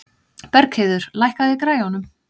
Bergheiður, lækkaðu í græjunum.